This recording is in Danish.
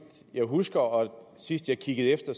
jeg husker og sidst jeg kiggede efter